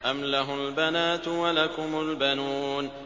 أَمْ لَهُ الْبَنَاتُ وَلَكُمُ الْبَنُونَ